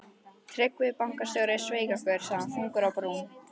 Tryggvi bankastjóri sveik okkur, sagði hann þungur á brún.